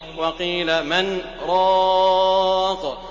وَقِيلَ مَنْ ۜ رَاقٍ